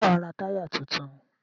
Ṣé wàá ra táyà tuntun?